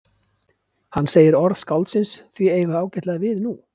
Hann segir orð skáldsins því eiga ágætlega við nú?